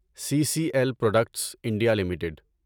C C L Products India limited